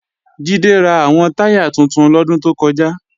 Jídé ra àwọn táyà tuntun lọ́dún tó kọjá